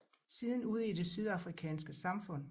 Siden ude i det sydafrikanske samfund